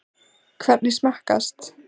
Hvernig smakkast?